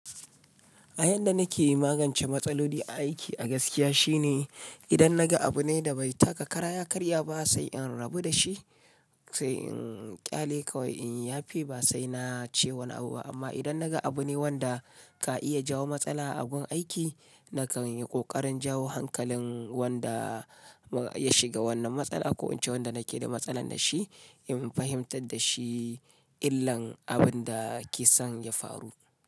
A yadda nake magance matsaloli aiki a gaskiya shine idan naga abu ne da bai taka kara ya karya ba sai in rabu da shi sai in ƙyale kawai in ya fi ba sai na ce wani abu ba amma idan naga abu ne wanda ka iya jawo matsala a abun aiki nakan yi ƙoƙarin jawo hankalin wanda ya shiga wannan matsala ko in ce wanda nake da matsala da shi in fahimtar da shi illan abun da kisan ya faru.